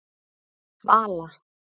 Vala